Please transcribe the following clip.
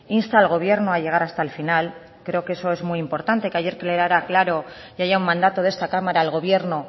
insta al gobierno a llegar hasta el final creo que eso es muy importante que ayer quedara claro y haya un mandato de esta cámara al gobierno